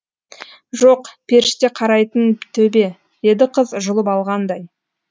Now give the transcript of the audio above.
жоқ періште қарайтын төбе деді қыз жұлып алғандай